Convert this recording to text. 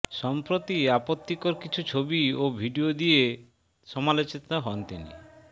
সম্প্রতি আপত্তিকর কিছু ছবি ও ভিডিও দিয়ে সমালোচিত হন তিনি